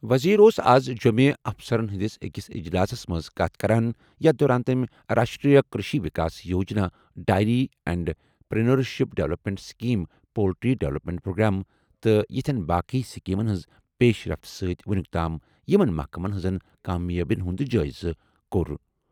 وزیر اوس اَز جۄٚمہِ افسرن ہٕنٛدِس أکِس اجلاسَس منٛز کتھ کران یتھ دوران تٔمۍ Rashtriya Krishi Vikas Yojana dairy entrepreneurship development scheme poultry development programme تہٕ یِتھٮ۪ن باقی سکیمَن ہٕنٛز پیشرفت سۭتۍ وُنیُک تام یِمَن محکمَن ہٕنٛزن کامیٲبِین ہُنٛد جٲیزٕ کوٚر.